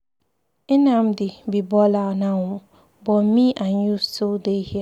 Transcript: Nnamdi be baller now ooo but me and you still dey here.